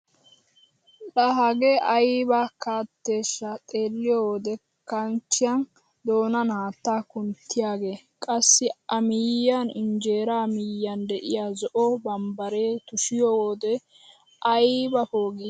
Ka hagee ayba katteeshsha xeelliyoo wode kanchchiyaa doonan haattaa kunttiyaage! qassi a miyiyaan injeraa miyyaan de'iyaa zo'o bambbaree tushshiyoo wode ayba poogii!